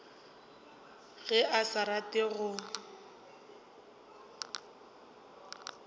ge a sa rate go